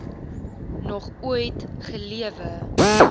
nog ooit gelewe